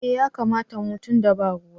Eh ya kamata mu tunda ba ruwa.